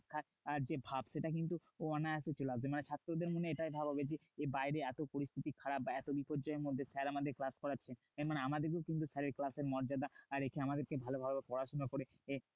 আর যে ভাব সেটা কিন্তু অনায়াসে চলে আসবে। মানে ছাত্রদের মনে এটাই ভাব হবে যে, বাইরে এত পরিস্থিতি খারাপ বা এত বিপর্যয়ের মধ্যে sir আমাদের class করাচ্ছেন। মানে আমাদেরকেও কিন্তু sir এর class এর মর্যাদা রেখে আমাদেরকে ভালোভাবে পড়াশোনা করে